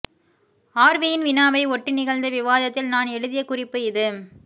ஆர்வியின் வினாவை ஒட்டி நிகழ்ந்த விவாதத்தில் நான் எழுதிய குறிப்பு இது